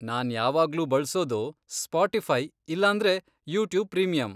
ನಾನ್ ಯಾವಾಗ್ಲೂ ಬಳ್ಸೋದು ಸ್ಪೋಟಿಫೈ ಇಲ್ಲಾಂದ್ರೆ ಯೂಟ್ಯೂಬ್ ಪ್ರೀಮಿಯಮ್.